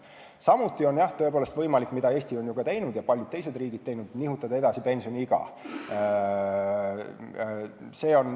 Samuti on võimalik teha seda, mida Eesti on juba teinud ja paljud teised samuti, nimelt nihutada edasi pensioniiga.